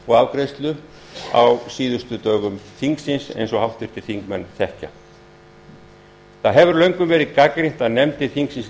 og afgreiðslu á síðustu dögum þingsins eins og háttvirtir þingmenn þekkja það hefur löngum verið gagnrýnt að nefndir þingsins